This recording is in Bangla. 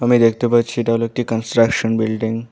আমি দেখতে পাচ্ছি এটা হলো একটি কনস্ট্রাকশন বিল্ডিং ।